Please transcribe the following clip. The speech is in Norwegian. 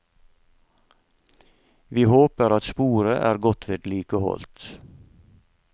Vi håper at sporet er godt vedlikeholdt.